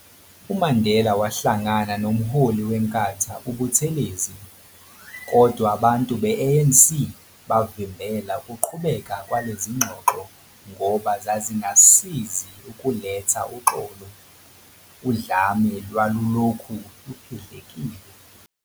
UMandela wahlangana nomholi weNkathu uButhelezi, kodwa abantu be-ANC bavimbela ukuqhubeka kwalezi zingxoxo ngoba zazingasizi ukuletha uxolo, udlame lwalulokhu luphendlekile.